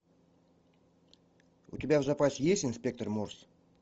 у тебя в запасе есть инспектор морс